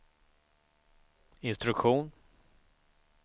instruktion